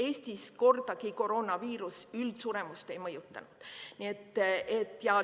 Eestis koroonaviirus kordagi üldsuremust ei mõjutanud.